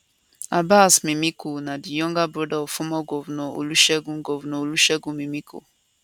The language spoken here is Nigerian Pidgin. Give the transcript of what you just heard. abbas mimiko na di younger brother of former governor olusegun governor olusegun mimiko